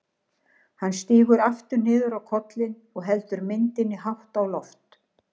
Hann sígur aftur niður á kollinn og heldur myndinni hátt á loft.